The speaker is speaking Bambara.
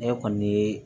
Ne kɔni ye